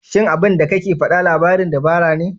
Shin abinda kake faɗa labarin dabara ne?